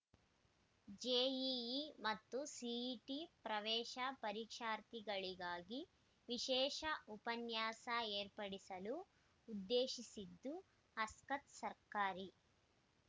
JEE ಮತ್ತು CET ಪ್ರವೇಶ ಪರೀಕ್ಷಾರ್ಥಿಗಳಿಗಾಗಿ ವಿಶೇಷ ಉಪನ್ಯಾಸ ಏರ್ಪಡಿಸಲು ಉದ್ದೇಶಿಸಿದ್ದು ಆಸಕ್ತ ಸರ್ಕಾರಿ